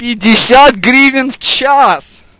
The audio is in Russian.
пятьдесят гривень в час